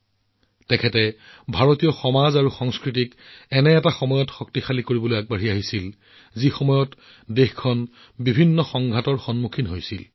দেশত বহু ধৰণৰ আক্ৰমণৰ সন্মুখীন হোৱাৰ সময়ত ভাৰতীয় সমাজ আৰু সংস্কৃতিক শক্তিশালী কৰাৰ বাবে আগবাঢ়ি আহিছিল